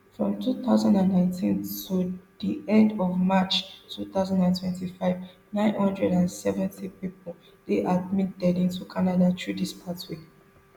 from two thousand and nineteen to di end of march two thousand and twenty-five nine hundred and seventy pipo dey admitted into canada through dis pathway